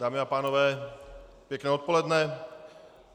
Dámy a pánové, pěkné odpoledne.